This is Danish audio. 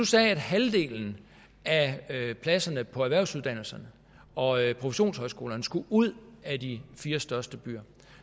sagde at halvdelen af pladserne på erhvervsuddannelserne og professionshøjskolerne skulle ud af de fire største byer